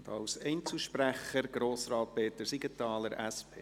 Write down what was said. Als Einzelsprecher: Grossrat Peter Siegenthaler, SP.